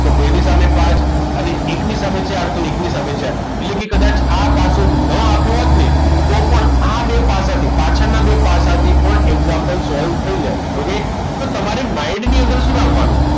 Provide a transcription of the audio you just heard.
તો બે ની સામે પાંચ અને એકની સામે ચાર તો એકની સામે ચાર એટલે કે કદાચ આ પાસો ન આપ્યો હોત ને તો પણ આ બે પાસાથી પાછળના બે પાસાથી પણ example solve થઈ જાય okay તો તમારે mind ની અંદર શું રાખવાનું